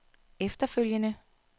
efterfølgende